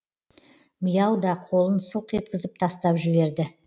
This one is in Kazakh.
миау да қолын сылқ еткізіп тастап жіберді